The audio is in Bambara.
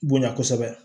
Bonya kosɛbɛ